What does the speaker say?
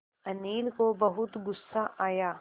अनिल को बहुत गु़स्सा आया